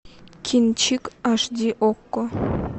кинчик аш ди окко